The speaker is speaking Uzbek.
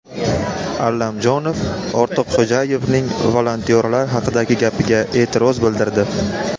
Allamjonov Ortiqxo‘jayevning volontyorlar haqidagi gapiga e’tiroz bildirdi.